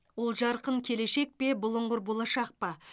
ол жарқын келешек пе бұлыңғыр болашақ па